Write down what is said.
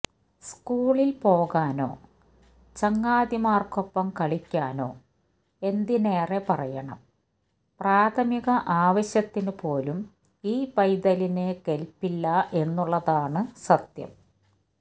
സ്കൂളിൽ പോകാനോ ചങ്ങാതിമാർക്കൊപ്പം കളിക്കാനോ എന്തിനേറെ പറയണം പ്രാഥമിക ആവശ്യത്തിനു പോലും ഈ പൈതലിന് കെൽപ്പില്ല എന്നുള്ളതാണ് സത്യം